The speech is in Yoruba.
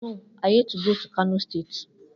No, i hate go to kano state